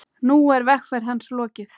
Nú er vegferð hans lokið.